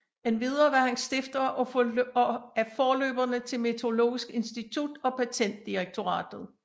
Endvidere var han stifter af forløberne til Meteorologisk Institut og Patentdirektoratet